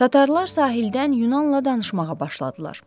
Tatarlar sahildən Yunanla danışmağa başladılar.